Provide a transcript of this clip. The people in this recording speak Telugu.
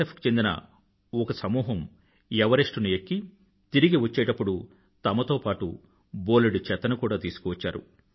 ఎఫ్ కు చెందిన ఒక సమూహం ఎవరెస్టుని ఎక్కి తిరిగి వచ్చ్చేటపుడు తమతో పాటూ బోలెడు చెత్తను కూడా తీసుకొచ్చారు